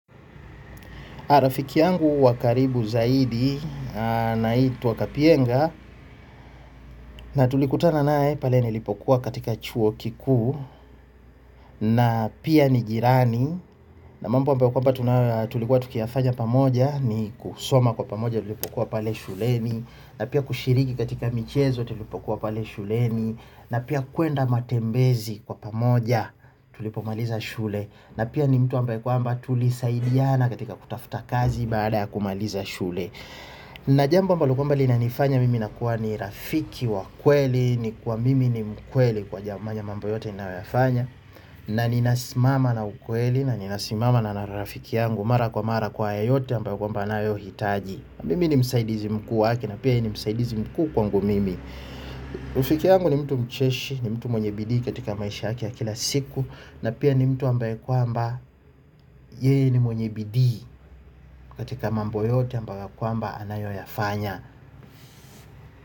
Rafiki yangu wa karibu zaidi anaitwa Kapienga na tulikutana naye pale nilipokuwa katika chuo kikuu na pia ni jirani na mambo ambayo kwamba tunayo tulikuwa tukiyafanya pamoja ni kusoma kwa pamoja vile tulikuwa pale shuleni na pia kushiriki katika michezo tulipokuwa pale shuleni na pia kuenda matembezi kwa pamoja tulipomaliza shule na pia ni mtu ambaye kwamba tulisaidiana katika kutafuta kazi baada ya kumaliza shule na jambo ambalo kwamba linanifanya mimi nakuwa ni rafiki wa kweli. Ni kuwa mimi ni mkweli kwa jambo mambo yote ninayofanya na ninasimama na ukweli na ninasimama na rafiki yangu. Mara kwa mara kwa yoyote ambayo kwamba anayohitaji. Mimi ni msaidizi mkuu wake na pia yeye ni msaidizi mkuu kwangu mimi rafiki yangu ni mtu mcheshi, ni mtu mwenye bidii katika maisha yake ya kila siku na pia ni mtu ambaye kwamba yeye ni mwenye bidii katika mambo yote ambayo kwamba anayoyafanya.